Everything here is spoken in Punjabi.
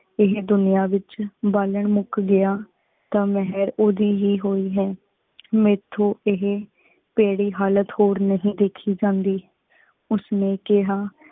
ਏਹੀ ਦੁਨਿਯਾ ਵਿਚ ਬਾਲਨ ਮੁਕ ਗਯਾ ਤਾ ਮਹਰ ਓਹਦੀ ਹੀ ਹੋਈ ਹੈ। ਮੇਥੋ ਏਹੀ ਪੈੜੀ ਹਾਲਤ ਹੋਰ ਨਹੀ ਦੇਖੀ ਜਾਂਦੀ। ਉਸ ਨੇ ਕਹਾ